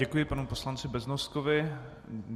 Děkuji panu poslanci Beznoskovi.